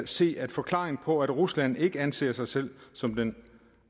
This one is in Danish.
se at forklaringen på at rusland ikke anser sig selv som den